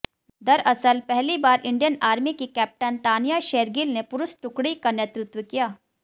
दरअसल पहली बार इंडियन आर्मी की कैप्टन तानिया शेरगिल ने पुरुष टुकड़ी का नेतृत्व किया